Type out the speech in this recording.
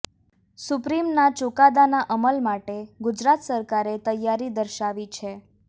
સુપ્રીમના ચુકાદાના અમલ માટે ગુજરાત સરકારે તૈયારી દર્શાવી છે